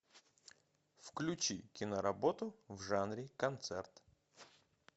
включи киноработу в жанре концерт